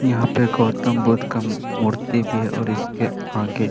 यहाँ पे गौतम बुद्ध का मूर्ति भी है और इसके आगे --